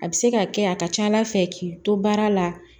A bɛ se ka kɛ a ka ca ala fɛ k'i to baara la